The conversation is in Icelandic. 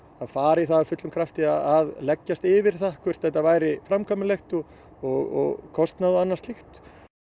fara í það af fullum krafti að leggjast yfir það hvort þetta væri framkvæmanlegt og og kostnað og annað slíkt